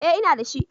Eh ina da shi.